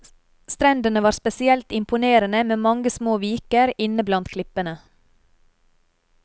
Strendene var spesielt imponerende med mange små viker inne blandt klippene.